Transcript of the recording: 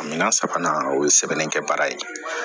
Minna sabanan o ye sɛbɛnnikɛ baara ye